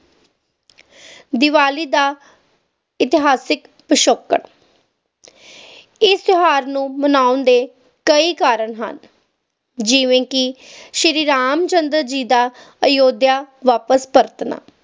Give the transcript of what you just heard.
ਦੀਵਾਲੀ ਦਾ ਇਤਿਹਾਸਿਕ ਪਿਛੋਕੜ ਇਸ ਤਿਓਹਾਰ ਨੂੰ ਮਨਾਉਣ ਦੇ ਕਈ ਕਾਰਣ ਹਨ ਜਿਵੇ ਕਿ ਸ਼ੀਰੀ ਰਾਮ ਚੰਦਰ ਜੀ ਦਾ ਅਯੁੱਧਿਆ ਵਾਪਿਸ ਪਰਤਣਾ